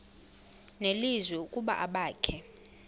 nelizwi ukuba abakhe